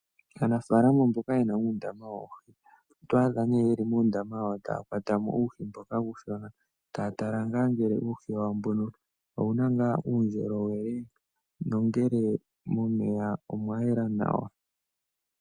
Aanafaalama mboka yena uundama woohi oto adha nee yeli muundama wawo taya kwatwa mo uuhi wawo mboka uushona, taya tala ngele uuhi wawo mbono owu na ngaa uundjolowele nongele momeya omwa yela nawa.